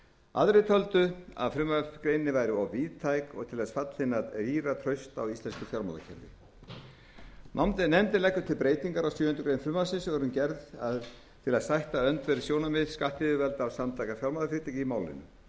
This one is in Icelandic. aðrir töldu að frumvarpsgreinin væri of víðtæk og til þess fallin að rýra traust á íslensku fjármálakerfi nefndin leggur til breytingu á sjöundu greinar frumvarpsins og er hún gerð til að sætta öndverð sjónarmið skattyfirvalda og samtaka fjármálafyrirtækja í málinu